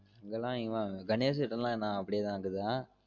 இங்க லாம் இவன் கணேஷ் வீடலாம் இன்னும் அப்டியே தான் இக்குதா?